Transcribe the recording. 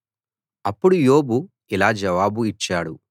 అప్పుడు యోబు ఇలా జవాబు ఇచ్చాడు